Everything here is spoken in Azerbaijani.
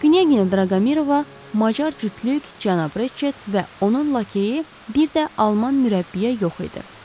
Knyaginya Draqomirova, macar cütlük, cənab Reçet və onun lakeyi, bir də alman mürəbbiyə yox idi.